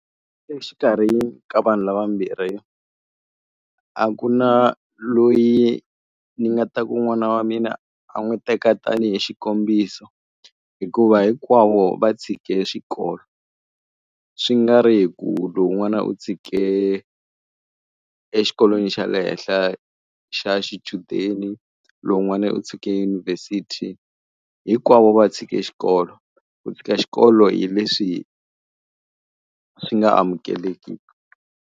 Exikarhi ka vanhu lava mbirhi, a ku na loyi ni nga ta ku n'wana wa mina a n'wi teka tanihi xikombiso. Hikuva hinkwavo va tshike xikolo. Swi nga ri hi ku lowun'wana u tshike exikolweni xa le henhla xa xichudeni, lowun'wana u tshike yunivhesiti, hinkwavo va tshike xikolo. Ku tshika xikolo hi leswi swi nga amukelekiki.